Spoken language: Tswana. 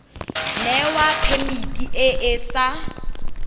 newa phemiti e e sa